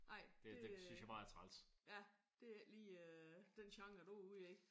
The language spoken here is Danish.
Ej det ja det er ikke lige den genre du er ude i